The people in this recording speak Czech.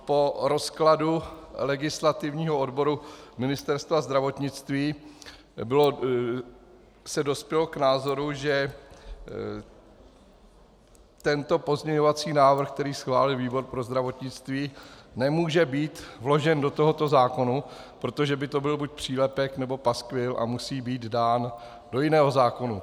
Po rozkladu legislativního odboru Ministerstva zdravotnictví se dospělo k názoru, že tento pozměňovací návrh, který schválil výbor pro zdravotnictví, nemůže být vložen do tohoto zákona, protože by to byl buď přílepek, nebo paskvil, a musí být dán do jiného zákona.